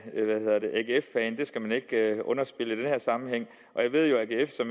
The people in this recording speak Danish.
skal man ikke underspille i den her sammenhæng og jeg ved jo at